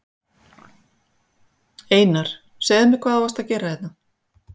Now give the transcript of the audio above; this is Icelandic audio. Einar, segðu mér hvað varst þú að gera hérna?